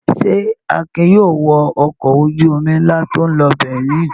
Ṣé Akin yóò wọ ọkọ̀ ojú-omi ńlá tó ń lọ Berlin?